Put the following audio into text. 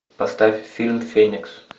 поставь фильм феникс